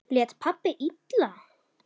Lét pabbi illa?